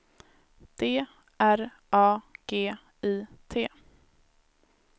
D R A G I T